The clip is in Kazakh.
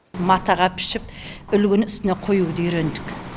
матаға пішіп үлгіні үстіне қоюды үйрендік